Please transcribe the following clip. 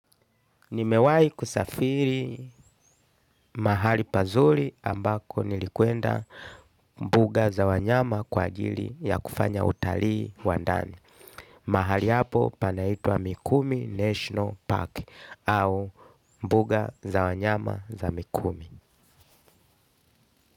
Nimewahi kusafiri mahali pazuri ambako nilikwenda mbuga za wanyama kwa ajili ya kufanya utalii wa ndani. Mahali hapo panaitwa Mikumi National Park au mbuga za wanyama za Mikumi.